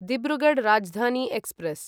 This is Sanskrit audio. धिब्रुगढ् राजधानी एक्स्प्रेस्